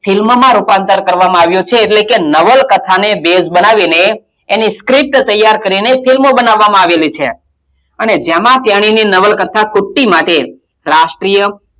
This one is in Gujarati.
film મોમાં રૂપાંતરિત કરવામાં આવ્યું છે એટલે કે નવલકથાને ભેદ બનાવીને એની script તૈયાર કરીને film બનાવવામાં આવેલી છે અને જેમાં તેની નવલકથા કૂટ્ટી માટે રાષ્ટ્રીય,